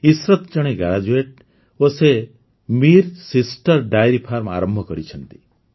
ଇଶରତ୍ ଜଣେ ଗ୍ରାଜୁଏଟ୍ ଓ ସେ ମିର୍ ସିଷ୍ଟର୍ସ ଡେୟରି ଫାର୍ମ ଆରମ୍ଭ କରିଛନ୍ତି